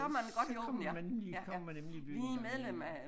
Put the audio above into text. Så kommer man lige kommer man nemlig i byen en gang imellem